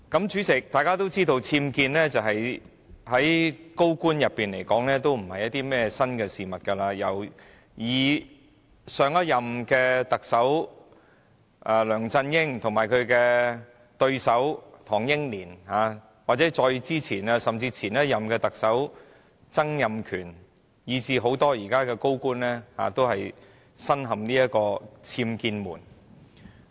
主席，眾所周知，僭建在高官之間並非甚麼新事物，由上一任特首梁振英及其對手唐英年、再前一任特首曾蔭權，以至很多現任高官，均身陷僭建醜聞。